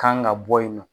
Kan ka bɔ yen nɔ